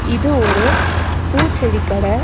இது ஒரு பூ செடி கட.